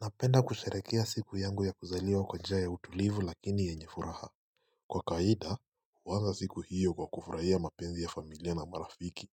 Napenda kusharehekea siku yangu ya kuzaliwa kwa njia ya utulivu lakini yenye furaha Kwa kawaida huwanza siku hiyo kwa kufuraia mapenzi ya familia na marafiki